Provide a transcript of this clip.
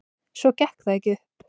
Svo gekk það ekki upp.